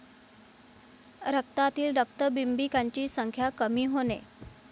रक्तातील रक्तबिंबिकांची संख्या कमी होणे